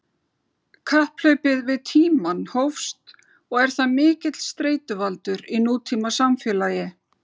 Kapphlaupið við tímann hófst og er það mikill streituvaldur í nútímasamfélagi.